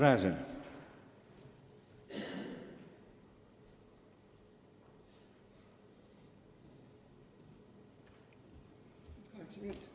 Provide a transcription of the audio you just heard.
Igor Gräzin.